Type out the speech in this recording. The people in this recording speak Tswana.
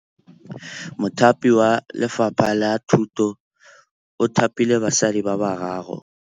Mothapi wa Lefapha la Thutô o thapile basadi ba ba raro.